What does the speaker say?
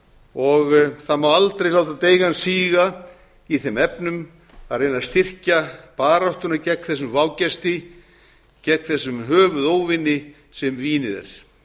og það má aldrei láta deigan síga í þeim efnum að reyna að styrkja baráttuna gegn þessum vágesti gegn þessum höfuðóvini sem vínið er